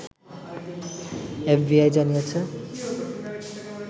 FBI জানিয়েছে